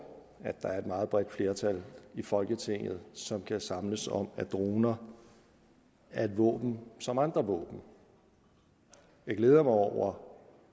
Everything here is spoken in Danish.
at der er et meget bredt flertal i folketinget som kan samles om at droner er et våben som andre våben jeg glæder mig over